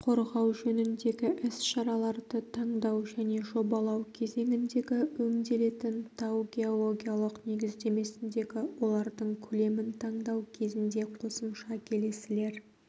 қорғау жөніндегі іс-шараларды таңдау және жобалау кезеңіндегі өңделетін тау-геологиялық негіздемесіндегі олардың көлемін таңдау кезінде қосымша келесілер